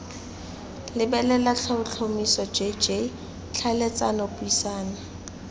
lebelela tlhotlhomisa jj tlhaeletsano puisano